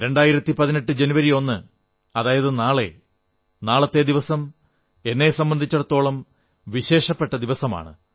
2018 ജനുവരി 1 അതായത് നാളെ നാളത്തെ ദിവസം എന്നെ സംബന്ധിച്ചിടത്തോളം വിശേഷപ്പെട്ട ദിവസമാണ്